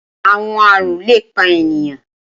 Awọn àrùn le pa eniyan.